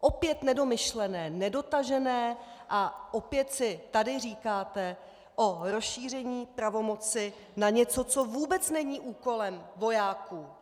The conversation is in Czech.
Opět nedomyšlené, nedotažené a opět si tady říkáte o rozšíření pravomoci na něco, co vůbec není úkolem vojáků.